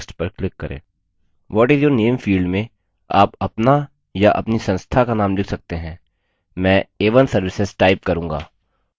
what is your name field में आप अपना या अपनी संस्था का name लिख सकते हैं मैं a1 services type करूँगा